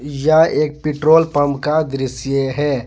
यह एक petrol pump का दृश्य है।